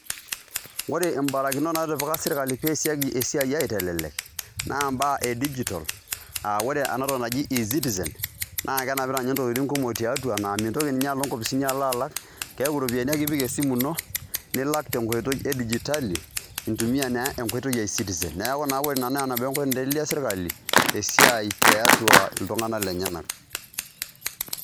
Ore imbarakiton naatipika serkali pee eesieki esiai aitelelek, naa imbaa e digital, aa ore ena toki naji e-citizen, naa kenapita ninye intokitin kumok tiatua naa mintoki ninye alo inkopisini alo alak, keaku iropiyiani ake ipik esimu ino, nilak tenkoitoi edijitali, intumia naa enkoitoi e e-citizen. Neaku naa ore ina naa nabo enkoitoi naitelelia serkali esiai tiatua iltung'anak lenyenak